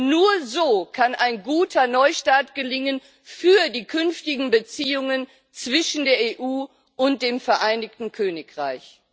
Denn nur so kann ein guter Neustart gelingen für die künftigen Beziehungen zwischen der EU und dem Vereinigten Königreich.